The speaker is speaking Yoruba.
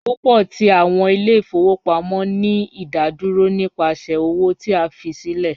Pupọ ti awọn ile-ifowopamọ ni idaduro nipasẹ owo ti a fi silẹ